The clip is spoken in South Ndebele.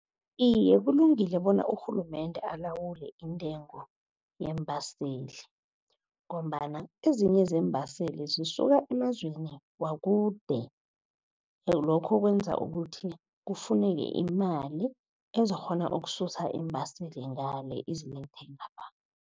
Iye, kulungile bona urhulumende alawule intengo yeembaseli, ngombana ezinye zeembaseli zisuka emazweni wakude. Lokho kwenza ukuthi kufuneke imali, ezikghona ukususa iimbaseli ngale izilethe ngapha.